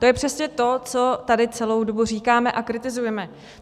To je přesně to, co tady celou dobu říkáme a kritizujeme.